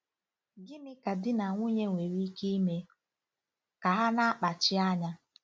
Gịnị ka di na nwunye nwere ike ime ka ha na-akpachi anya?